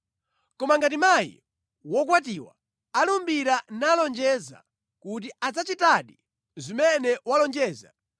“Koma ngati mayi wokwatiwa alumbira nalonjeza kuti adzachitadi zimene walonjeza,